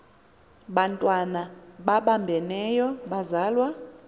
bantwana babambeneyo bazalwa